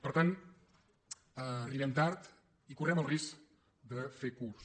per tant arribem tard i correm el risc de fer curt